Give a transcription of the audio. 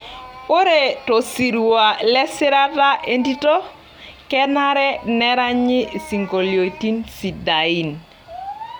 Ore tosirua lesirata entito, kenare neranyi sinkoliotin sidai.